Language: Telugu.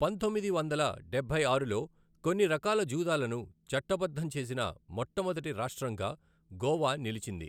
పంతొమ్మిది వందల డబ్బై ఆరులో కొన్ని రకాల జూదాలను చట్టబద్ధం చేసిన మొట్టమొదటి రాష్ట్రంగా గోవా నిలిచింది.